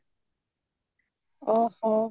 ଓହୋ